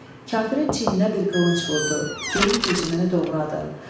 Kafirin çiyninə bir qılınc vurdu, geyim keçimini doğradı.